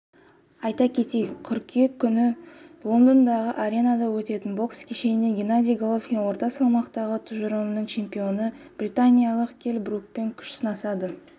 айта кетейік қыркүйек күні лондондағы аренада өтетін бокс кешенінде геннадий головкин орта салмақтағы тұжырымының чемпионы британиялық келл брукпен күш сынасады